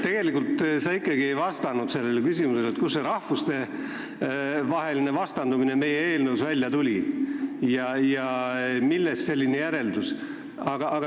Tegelikult sa ikkagi ei vastanud küsimusele, kuidas see rahvuste vastandamine meie eelnõust välja tuli ja millest selline järeldus.